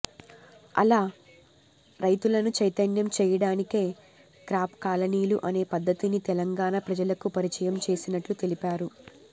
ఆలా రైతులను చైతన్యం చేయడానికే క్రాప్ కాలనీలు అనే పద్దతిని తెలంగాణ ప్రజలకు పరిచయం చేసినట్లు తెలిపారు